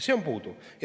See on puudu.